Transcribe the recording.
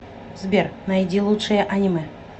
сбер найди лучшие аниме